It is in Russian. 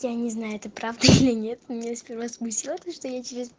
я не знаю это правда или нет меня сперва смутило то что я через